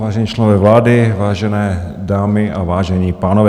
Vážení členové vlády, vážené dámy a vážení pánové.